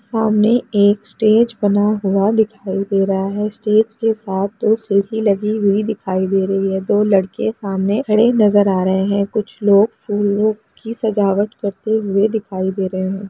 सामने एक स्टेज बना हुआ दिखाई दे रहा है स्टेज के साथ दो सीढ़ी लगी हुई दिखाई दे रही है दो लड़के सामने खड़े नजर आ रहे है कुछ लोग फूलों की सजावट करते हुए दिखाई दे रहे है।